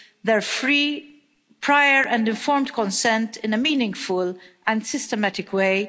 their free, prior, and informed consent in a meaningful and systematic way